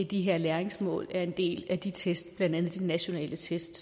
de her læringsmål er en del af de test blandt andet de nationale test